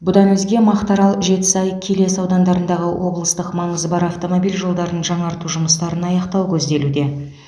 бұдан өзге мақтаарал жетісай келес аудандарындағы облыстық маңызы бар автомобиль жолдарын жаңарту жұмыстарын аяқтау көзделуде